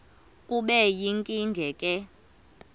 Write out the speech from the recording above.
kube yinkinge ke